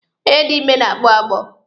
Onye dị ime na-agbọ agbọ.